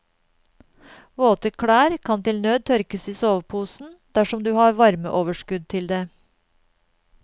Våte klær kan til nød tørkes i soveposen dersom du har varmeoverskudd til det.